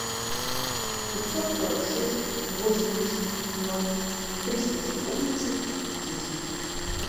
пятьсот сорок шесть восемьдесят ноль триста четырнадцать десять